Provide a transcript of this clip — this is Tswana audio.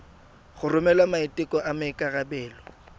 go romela maiteko a maikarebelo